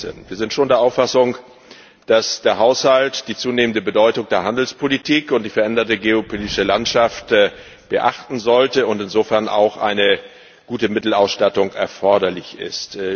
2016. Wir sind schon der Auffassung, dass der Haushalt die zunehmende Bedeutung der Handelspolitik und die veränderte geopolitische Landschaft beachten sollte und insofern auch eine gute Mittelausstattung erforderlich ist.